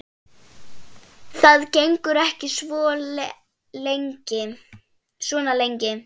Ljóða hrannir við bakkann dökkva.